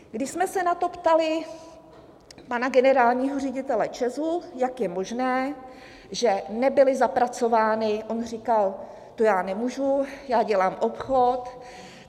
Když jsme se na to ptali pana generálního ředitele ČEZu, jak je možné, že nebyly zapracovány, on říkal: To já nemůžu, já dělám obchod.